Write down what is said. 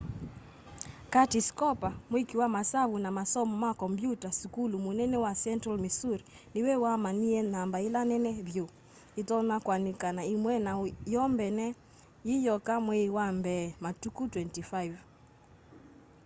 curtis cooper mwĩkĩ wa masavu na masomo ma kombyũta sukulu mũnene wa central missouri nĩwe wamanyĩe namba ĩla nene vyũ ĩtonya kũanĩka na ĩmwe na yo mbene yĩyoka mweĩ wa mbee matukũ 25